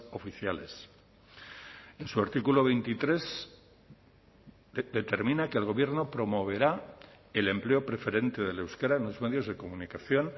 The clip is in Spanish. oficiales en su artículo veintitrés determina que el gobierno promoverá el empleo preferente del euskera en los medios de comunicación